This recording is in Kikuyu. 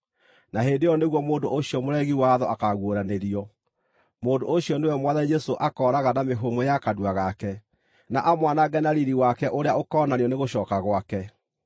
Na hĩndĩ ĩyo nĩguo mũndũ ũcio mũregi watho akaaguũranĩrio. Mũndũ ũcio nĩwe Mwathani Jesũ akooraga na mĩhũmũ ya kanua gake, na amwanange na riiri wake ũrĩa ũkoonanio nĩ gũcooka gwake.